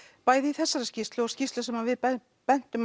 bæði í þessari skýrslu og skýrslu sem að við bentum bentum